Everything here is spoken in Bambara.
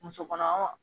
Muso kɔnɔma